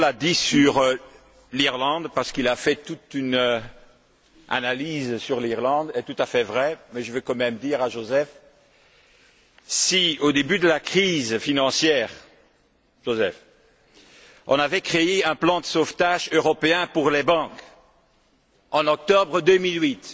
Daul a dit sur l'Irlande parce qu'il a fait toute une analyse sur l'Irlande est tout à fait vrai, mais je veux quand même dire à Joseph que, si au début de la crise financière, on avait créé un plan de sauvetage européen pour les banques, en octobre 2008,